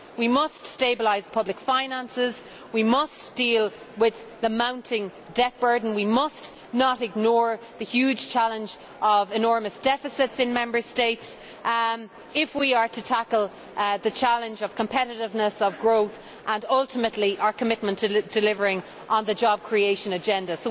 We must stabilise public finances, we must deal with the mounting debt burden and we must not ignore the huge challenge of enormous deficits in Member States if we are to tackle the challenge of competitiveness of growth and ultimately fulfil our commitment to delivering on the job creation agenda.